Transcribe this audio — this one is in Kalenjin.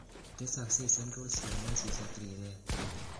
Tesoksei Central cyanosis ak riret.